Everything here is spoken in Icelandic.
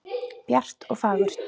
Bjart og fagurt.